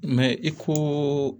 i ko